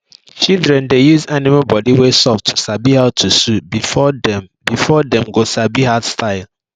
shidren dey use animal bodi wey soft to sabi how to sew before dem before dem go come sabi hard style